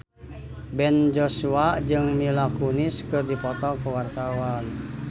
Ben Joshua jeung Mila Kunis keur dipoto ku wartawan